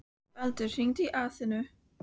Baldur, hringdu í Atenu.